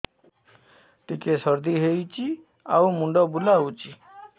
ଟିକିଏ ସର୍ଦ୍ଦି ହେଇଚି ଆଉ ମୁଣ୍ଡ ବୁଲାଉଛି